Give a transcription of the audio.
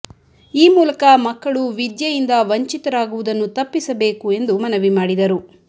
ಈ ಮೂಲಕ ಮಕ್ಕಳು ವಿದ್ಯೆಯಿಂದ ವಂಚಿತರಾಗುವುದನ್ನು ತಪ್ಪಿಸಬೇಕು ಎಂದು ಮನವಿ ಮಾಡಿದರು